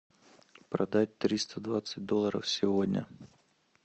продать триста двадцать долларов сегодня